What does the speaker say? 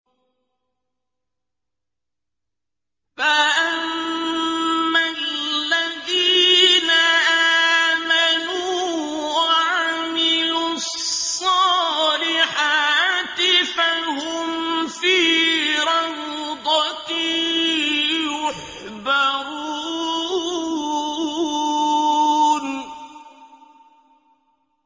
فَأَمَّا الَّذِينَ آمَنُوا وَعَمِلُوا الصَّالِحَاتِ فَهُمْ فِي رَوْضَةٍ يُحْبَرُونَ